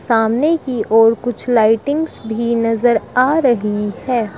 सामने की ओर कुछ लाइटिंग्स भी नजर आ रही है।